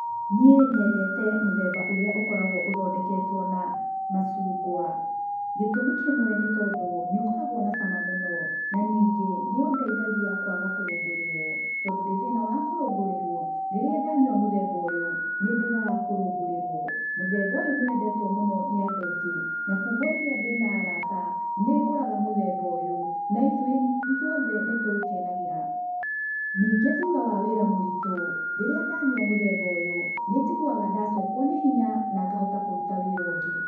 Niĩ nyendete mũthemba ũrĩa ũkoragwo ũthondeketwo na macungwa. Gĩtũmi kĩmwe nĩ tondũ nĩ ũkoragwo na cama mũno, na ningĩ nĩ ũndeithagia kwaga kũrũngũrĩrwo. Tondũ ndi thĩna wa kũrungũrirwo, rĩrĩa ndanyua muthemba ũyũ, nĩ ndigaga kũrũngũrĩrwo. Mũthemba ũyũ nĩ wendetwo mũno nĩ andũ aingĩ. Na kwoguo rĩrĩa ndĩ na arata, nĩ ngũraga mũthemba ũyũ, na ithuĩ othe nĩ tũũkenagĩra. Ningĩ thutha wa wĩra mũritũ, rĩrĩa ndanyua mũthemba ũyũ, nĩ njiguaga ndacokwo nĩ hinya na ngahota kũruta wĩra ũngĩ.